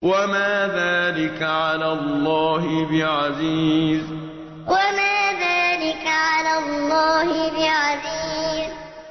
وَمَا ذَٰلِكَ عَلَى اللَّهِ بِعَزِيزٍ وَمَا ذَٰلِكَ عَلَى اللَّهِ بِعَزِيزٍ